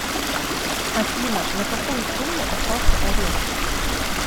афина на какую сумму остался арест